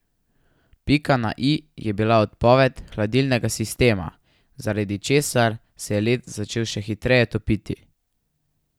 Pika na i je bila odpoved hladilnega sistema, zaradi česar se je led začel še hitreje topiti.